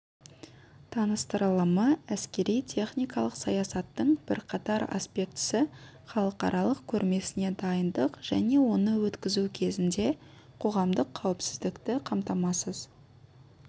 таныстырылымы әскери-техникалық саясаттың бірқатар аспектісі халықаралық көрмесіне дайындық және оны өткізу кезінде қоғамдық қауіпсіздікті қамтамасыз